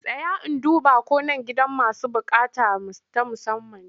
Tsaya in duba ko nan gidan masu buƙata ta musamman ne!